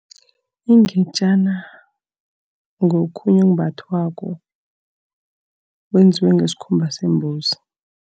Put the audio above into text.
Ingetjana ngokhunye okumbathwako, kwenziwe ngesikhumba sembuzi.